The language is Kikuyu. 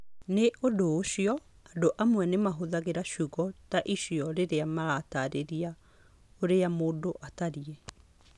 Nĩ ũndũ ũcio, andũ amwe nĩ mahũthagĩra ciugo ta icio rĩrĩa marataarĩria ũrĩa mũndũ atariĩ.